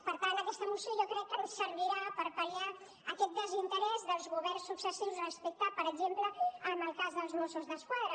per tant aquesta moció jo crec que ens servirà per pal·liar aquest desinterès dels governs successius respecte per exemple del cas dels mossos d’esquadra